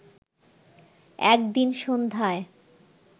একদিন সন্ধ্যায়